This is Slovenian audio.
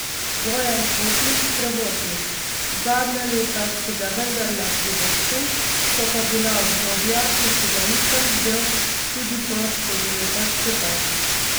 Bojan Kotnik, prevoznik: "Zadnja leta si ga vendarle privoščim, so pa bila obdobja, ko si ga nisem vzel tudi po štiri leta skupaj.